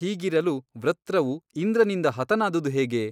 ಹೀಗಿರಲು ವೃತ್ರವು ಇಂದ್ರನಿಂದ ಹತನಾದುದು ಹೇಗೆ?